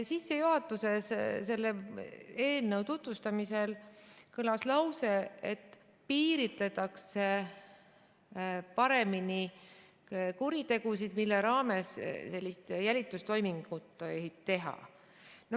Sissejuhatuses selle eelnõu tutvustamisel kõlas lause, et piiritletakse paremini kuritegusid, mille raames sellist jälitustoimingut tohib teha.